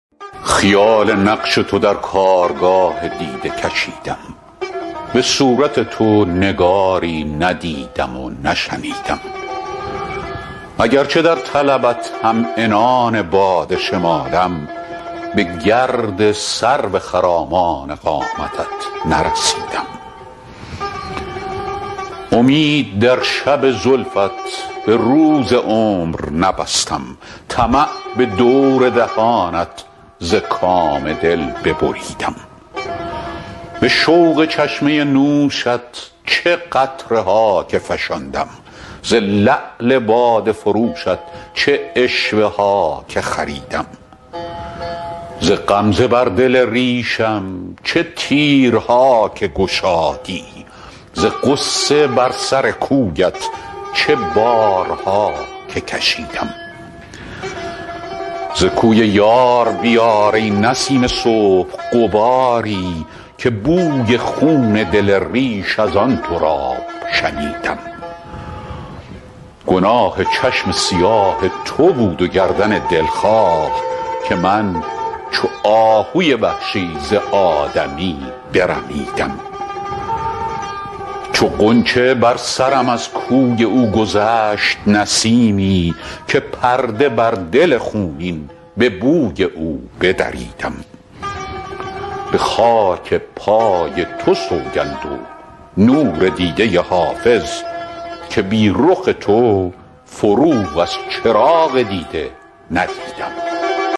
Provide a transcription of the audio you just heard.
خیال نقش تو در کارگاه دیده کشیدم به صورت تو نگاری ندیدم و نشنیدم اگرچه در طلبت هم عنان باد شمالم به گرد سرو خرامان قامتت نرسیدم امید در شب زلفت به روز عمر نبستم طمع به دور دهانت ز کام دل ببریدم به شوق چشمه نوشت چه قطره ها که فشاندم ز لعل باده فروشت چه عشوه ها که خریدم ز غمزه بر دل ریشم چه تیرها که گشادی ز غصه بر سر کویت چه بارها که کشیدم ز کوی یار بیار ای نسیم صبح غباری که بوی خون دل ریش از آن تراب شنیدم گناه چشم سیاه تو بود و گردن دلخواه که من چو آهوی وحشی ز آدمی برمیدم چو غنچه بر سرم از کوی او گذشت نسیمی که پرده بر دل خونین به بوی او بدریدم به خاک پای تو سوگند و نور دیده حافظ که بی رخ تو فروغ از چراغ دیده ندیدم